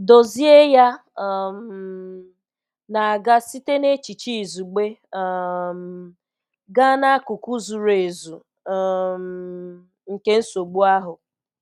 Dozie ya um na-aga site n'echiche izugbe um gaa n'akụkụ zuru ezu um nke nsogbu ahụ.